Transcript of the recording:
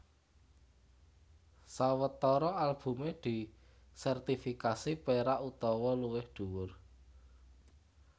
Sawetara albumé disertifikasi perak utawa luwih dhuwur